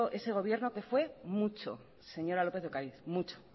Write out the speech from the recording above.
ese gobierno que fue mucho señora lópez de ocariz mucho